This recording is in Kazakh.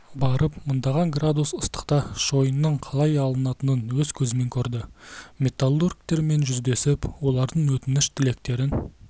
барып мыңдаған градус ыстықта шойынның қалай алынатынын өз көзімен көрді металлургтермен жүздесіп олардың өтініш тілектерін